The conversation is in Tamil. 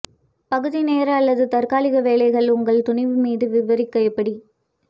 பகுதி நேர அல்லது தற்காலிக வேலைகள் உங்கள் துணிவு மீது விவரிக்க எப்படி